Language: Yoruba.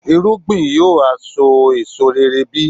irúgbìn yóò ha so èso rere bí?